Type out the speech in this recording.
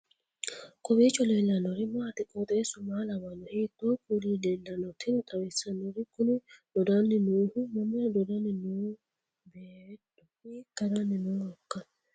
kowiicho leellannori maati ? qooxeessu maa lawaanno ? hiitoo kuuli leellanno ? tini xawissannori kuni dodanni noohu mamira dodanni nooho beettu hiikka haranni nooikka